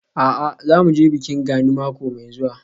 A'a, za mu je bikin Gani mako mai zuwa.